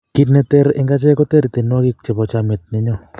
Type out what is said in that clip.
kit ne ter ing' achek ko ter tiedwanik chebo chamiet ne nyo